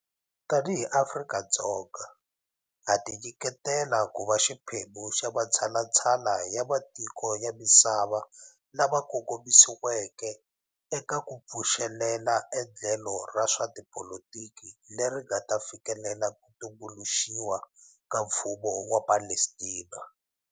Tanihi Afrika-Dzonga, ha tinyiketela ku va xiphemu xa matshalatshala ya matiko ya masiva lama kongomisiweke eka ku pfuxelela endlelo ra swa tipolitiki leri nga ta fikelela ku tumbuluxiwa ka mfumo wa Palestina.